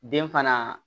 Den fana